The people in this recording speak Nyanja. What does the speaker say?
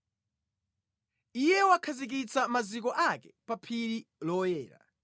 Iye wakhazikitsa maziko ake pa phiri loyera;